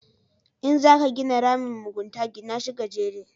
In za ka gina ramin mugunta, gina shi gajere